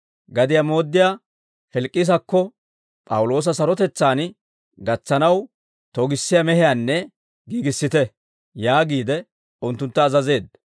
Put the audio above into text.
gadiyaa mooddiyaa Filikisakko P'awuloosa sarotetsaan gatsanaw togissiyaa mehiyaanne giigissite» yaagiide, unttuntta azazeedda.